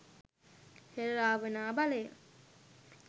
හෙළ රාවණා බලය